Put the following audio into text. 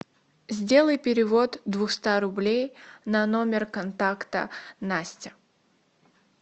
сделай перевод двухста рублей на номер контакта настя